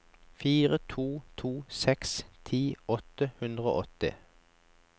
fire to to seks ti åtte hundre og åtti